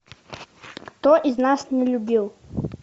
кто из нас не любил